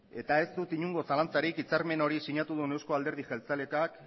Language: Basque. ez dut inongo zalantzarik hitzarmen hori sinatu dun eusko alderdi jeltzaleak